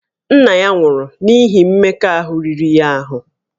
Nna ya nwụrụ n'ihi mmekọahụ riri ya ahụ